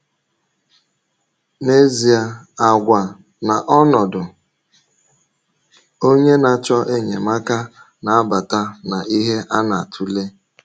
N’ezie, àgwà na ọnọdụ onye na-achọ enyemaka na-abata na ihe a na-atụle.